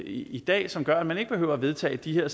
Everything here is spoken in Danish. i dag som gør at man ikke behøver vedtage de her